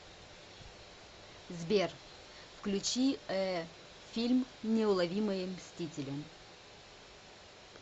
сбер включи э фильм неуловимые мстители